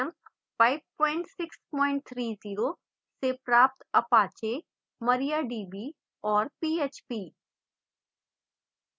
xampp 5630 से प्राप्त apache mariadb और php